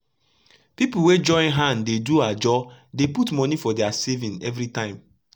pipu wey join hand dey do ajo dey put moni for dia saving everi tym